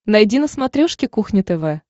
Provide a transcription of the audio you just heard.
найди на смотрешке кухня тв